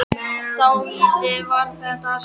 Dálítið var þar af sérkennilegu fólki en ákaflega góðu.